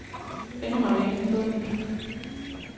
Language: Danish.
Endnu har vi ingen fundet.